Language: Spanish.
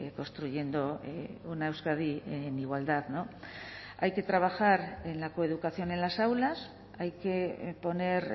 construyendo una euskadi en igualdad hay que trabajar en la coeducación en las aulas hay que poner